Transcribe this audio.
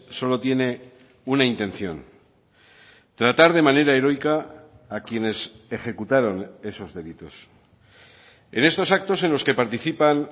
solo tiene una intención tratar de manera heroica a quienes ejecutaron esos delitos en estos actos en los que participan